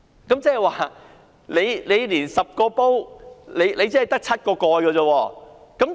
換言之，現時是 "10 個煲卻只得7個蓋"。